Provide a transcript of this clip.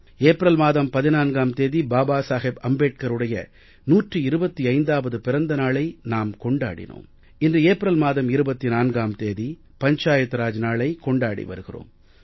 April மாதம் 14ம் தேதி பாபா சாஹேப் அம்பேட்கருடைய 125வது பிறந்த நாளை நாம் கொண்டாடினோம் இன்று ஏப்ரல் மாதம் 24ம் தேதி பஞ்சாயத் ராஜ் நாளைக் கொண்டாடி வருகிறோம்